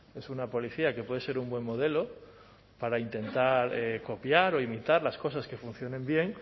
es una policía que puede ser un buen modelo para intentar copiar o imitar las cosas que funcionen bien